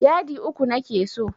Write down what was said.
Yadi uku nake so.